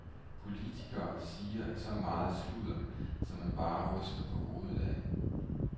Politikere siger så meget sludder, som man bare ryster på hovedet af.